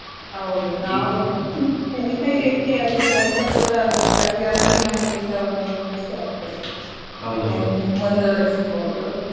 ಹೌದು ನಾವು ಕಲಿತ ಇದಕ್ಕೆ ಅದು ಕೆಲಸ ಕೂಡ ಅದು ಸರಿ ಆದ್ರೆ ನಮ್ಗೆಸ ಒಂದು ಖುಷಿ ಆಗ್ತದೆ ಮುಂದುವರಿಸ್ಬೋದು.